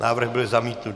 Návrh byl zamítnut.